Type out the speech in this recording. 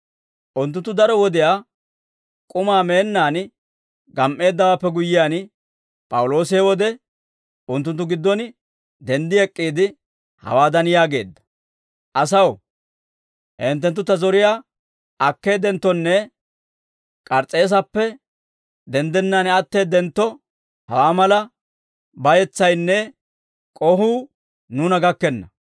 Unttunttu daro wodiyaa k'umaa meennaan gam"eeddawaappe guyyiyaan, P'awuloosi he wode unttunttu giddon denddi ek'k'iide, hawaadan yaageedda; «Asaw, hinttenttu ta zoriyaa akkeeddenttonne K'ars's'eesappe denddennaan atteeddentto, hawaa mala bayetsaynne k'ohuu nuuna gakkenna.